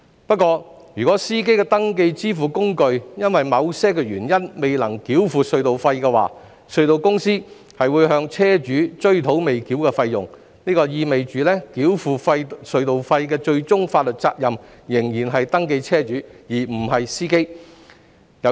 不過，如司機的登記支付工具因某些原因未能繳付隧道費，隧道公司則會向車主追討未繳費用，這意味繳付隧道費的最終法律責任仍是登記車主而非司機。